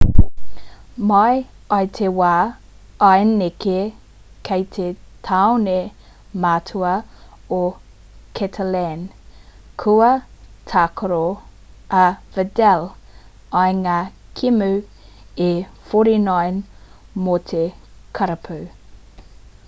mai i te wā i neke ki te tāone matua o catalan kua tākaro a vidal i ngā kēmu e 49 mō te karapu